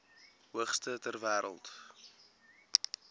hoogste ter wêreld